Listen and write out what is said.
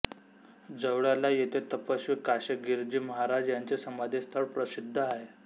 जवळाला येथे तपस्वी काशीगीरजी महाराज यांची समाधी स्थळ प्रशिद्ध आहे